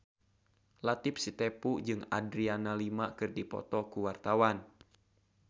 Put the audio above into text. Latief Sitepu jeung Adriana Lima keur dipoto ku wartawan